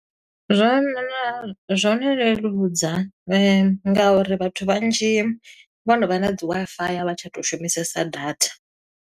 Zwa zwo no leludza, nga uri vhathu vhanzhi vho no vha na dzi WiFi, a vha tsha tou shumisesa data.